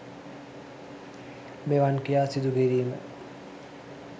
මෙවන් ක්‍රියා සිදුකිරීම